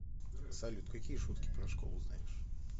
салют какие шутки про школу знаешь